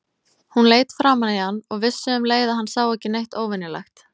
Hún leit framan í hann og vissi um leið að hann sá ekki neitt óvenjulegt.